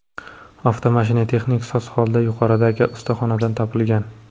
Avtomashina texnik soz holda yuqoridagi ustaxonadan topilgan.